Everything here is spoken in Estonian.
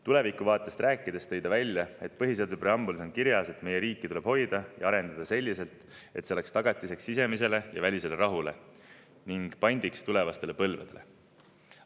Tulevikuvaatest rääkides tõi ta välja, et põhiseaduse preambulis on kirjas, et meie riiki tuleb hoida ja arendada selliselt, et see oleks tagatiseks sisemisele ja välisele rahule ning pandiks tulevastele põlvedele.